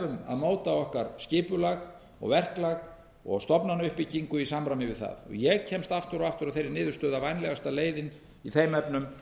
móta okkar skipulag og verklag og stofnanauppbyggingu í samræmi við það ég kemst aftur og aftur að þeirri niðurstöðu að vænlegasta leiðin í þeim efnum